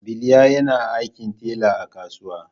Biliya yana aikin talla a kasuwa.